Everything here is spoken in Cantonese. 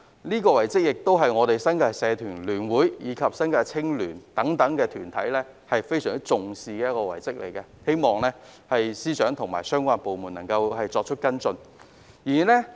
此外，新界社團聯會及新界青年聯會等團體非常重視這項遺蹟，希望司長和相關部門能夠跟進。